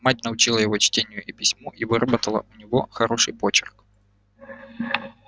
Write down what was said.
мать научила его чтению и письму и выработала у него хороший почерк